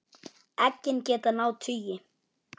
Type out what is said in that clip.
Eggin geta náð tugi.